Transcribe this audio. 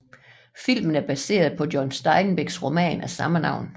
Filmen er baseret på John Steinbecks roman af samme navn